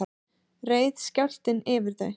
reið skjálftinn yfir þau